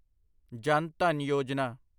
ਜਨ ਧਨ ਯੋਜਨਾ